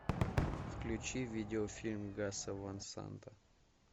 включи видеофильм гаса ван санта